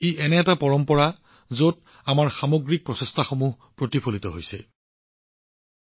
এক পৰম্পৰা যত আমি সকলোৰে প্ৰচেষ্টাৰ সত্বা দেখিছো